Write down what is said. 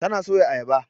Tana soya Ayaba.